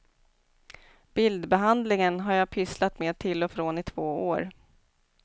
Bildbehandlingen har jag pysslat med till och från i två år.